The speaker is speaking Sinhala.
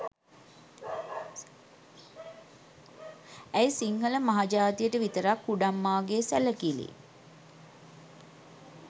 ඇයි සිංහළ මහජාතියට විතරක් කුඩම්මාගේ සැළකිළි?